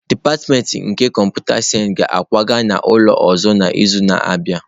Dipatịmentị nke kọmputa sayensị ga-akwaga n'ụlọ ọzọ n'izu na-abịa.